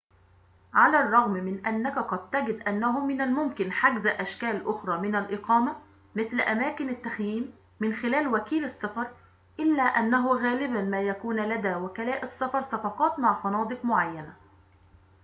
على الرغم من أنك قد تجد أنه من الممكن حجز أشكال أخرى من الإقامة مثل أماكن التخييم من خلال وكيل السفر إلا أنه غالباً ما يكون لدى وكلاء السفر صفقات مع فنادق معينة